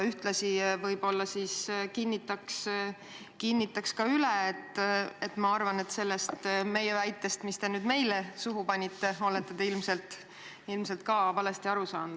Ühtlasi ma kinnitan üle: ma arvan, et te olete meie väitest, mis te meile suhu panite, ilmselt valesti aru saanud.